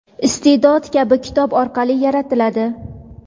iste’dod kabi kitob orqali yaratiladi.